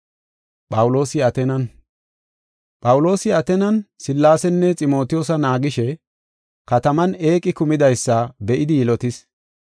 Phawuloosi Ateenan Sillaasenne Ximotiyoosa naagishe, kataman eeqi kumidaysa be7idi yilotis.